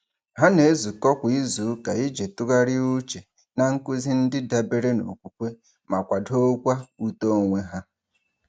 Ha na-ezukọ kwa izuụka iji tụgharị uche na nkuzi ndị dabere n'okwukwe ma kwadokwa uto onwe ha.